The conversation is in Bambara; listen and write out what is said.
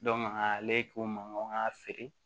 ale k'o mankan feere